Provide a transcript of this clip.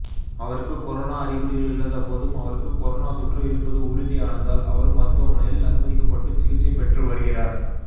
அவருக்கு கொரோனா அறிகுறிகள் இல்லாதபோதும் அவருக்கு கொரோனா தொற்று இருப்பது உறுதியானதால் அவரும் மருத்துவமனையில் அனுமதிக்கப்பட்டுச் சிகிச்சை பெற்று வருகிறார்